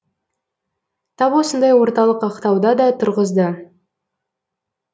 тап осындай орталық ақтауда да тұрғызды